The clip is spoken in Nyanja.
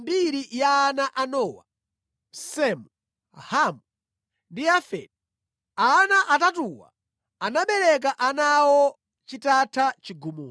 Nayi mbiri ya ana a Nowa, Semu, Hamu ndi Yafeti. Ana atatuwa anabereka ana awo chitatha chigumula.